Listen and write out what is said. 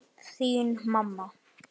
Þín mamma.